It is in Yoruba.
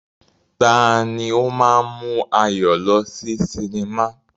Tani ó máa ń mú Ayọ̀ lọ sí cinema?